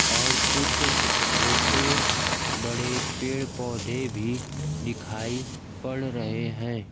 और कुछ छोटे बड़े पेड़ पौधे भी दिखाई पड़ रहे हैं।